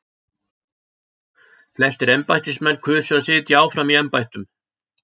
Flestir embættismenn kusu að sitja áfram í embættum.